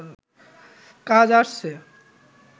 কাজ আছে